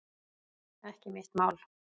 Ekki mitt mál